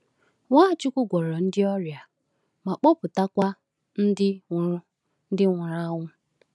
Nwachukwu gwọọrọ ndị ọrịa ma kpọpụtakwa ndị nwụrụ ndị nwụrụ anwụ.